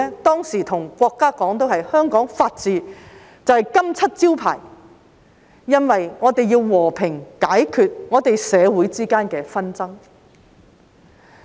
當時我們對國家說，香港法治就是金漆招牌，因為我們要和平解決我們社會之間的紛爭。